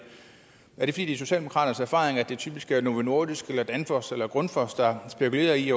fordi det er socialdemokraternes erfaring at det typisk er novo nordisk danfoss eller grundfos der spekulerer i